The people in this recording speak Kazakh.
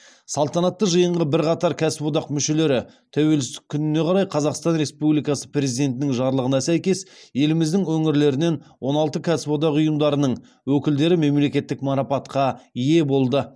салтанатты жиында бірқатар кәсіподақ мүшелері тәуелсіздік күніне орай қазақстан республикасы президентінің жарлығына сәйкес еліміздің өңірлерінен он алты кәсіподақ ұйымдарының өкілдері мемлекеттік марапатқа ие болды